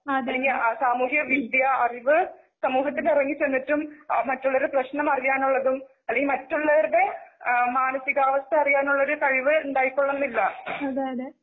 അല്ലങ്കിൽ സാമൂഹികവിദത്യ അറിവ് സമൂഹത്തിലിറങ്ങിച്ചെന്നിട്ടും മറ്റുള്ളവരുടെ പ്രശനം അറിയാനുള്ളതും. അല്ലങ്കിൽ മറ്റുള്ളവരുടെ ആ ,മാനസീകവസ്ഥ അറിയാനുള്ളൊരു കഴിവ് ഉണ്ടായിക്കൊള്ളണമെന്നില്ല.